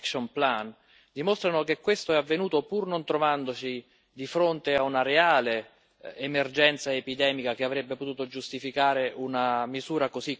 dimostrano che questo è avvenuto pur non trovandosi di fronte a una reale emergenza epidemica che avrebbe potuto giustificare una misura così coercitiva.